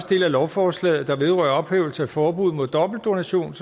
del af lovforslaget der vedrører ophævelse af forbuddet mod dobbeltdonation